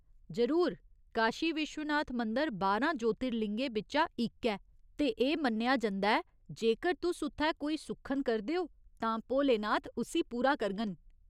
जरूर, काशी विश्वनाथ मंदर बारां ज्योतिर्लिंगें बिच्चा इक ऐ, ते एह् मन्नेआ जंदा ऐ जेकर तुस उत्थै कोई सुक्खन करदे ओ, तां भोलेनाथ उस्सी पूरा करङन !